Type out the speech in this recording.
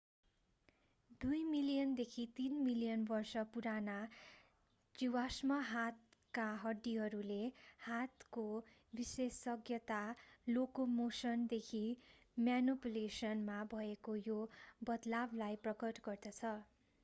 दुई मिलियन देखि तीन मिलियन वर्ष पुराना जीवाश्म हातका हड्डीहरूले हातको विशेषज्ञता लोकोमोशन देखि म्यानुपुलेशन मा भएको यो बदलावलाई प्रकट गर्दछ